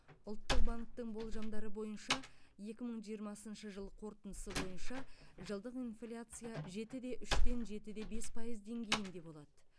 ұлттық банктің болжамдары бойынша екі мың жиырмасыншы жыл қорытындысы бойынша жылдық инфляция жеті де үштен жеті де бес пайыз деңгейінде болады